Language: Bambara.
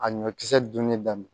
A ɲɔkisɛ dunni daminɛ